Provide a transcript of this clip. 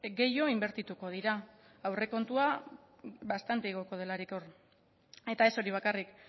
gehiago inbertituko dira aurrekontua bastante igoko delarik hor eta ez hori bakarrik